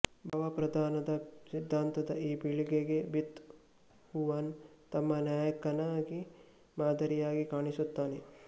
ಭಾವಪ್ರಧಾನದ ಸಿದ್ದಾಂತದ ಈ ಪೀಳಿಗೆಗೆ ಬೀತ್ ಹೂವನ್ ತಮ್ಮ ನಾಯಕನಾಗಿಮಾದರಿಯಾಗಿ ಕಾಣಿಸುತ್ತಾನೆ